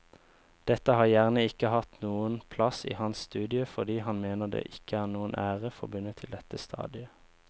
Dette har gjerne ikke hatt noen plass i hans studie fordi han mener det ikke er noen ære forbundet til dette stadiet.